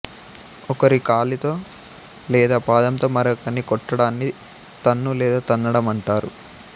ఒకరి కాలితో లేదా పాదంతో మరొకర్ని కొట్టడాన్ని తన్ను లేదా తన్నడం అంటారు